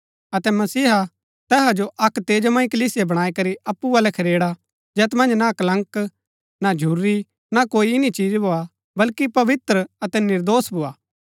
अतै मसीह तैहा जो अक्क तेजोमय कलीसिया बणाई करी अप्पु बल्लै खरेड़ा जैत मन्ज ना कलंक ना झुर्री ना कोई ईन्नी चीज भोआ बल्‍की पवित्र अतै निर्दोष भोआ